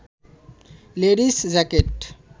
ladies jacket